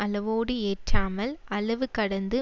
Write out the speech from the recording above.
அளவோடு ஏற்றாமல் அளவு கடந்து